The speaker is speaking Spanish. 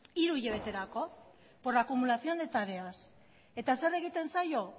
hiru hilabeterako por acumulación de tareas eta zer egiten zaio